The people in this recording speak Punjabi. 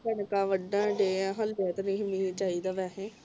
ਹਾਲੇ ਤੇ ਕਣਕਾਂ ਵਢਣ ਡਏ ਆ ਹਾਲੇ ਤੇ ਨਹੀਂ ਮੀਂਹ ਨਹੀਂ ਚਾਹੀਦਾ ਸੀ ਵੈਸੇ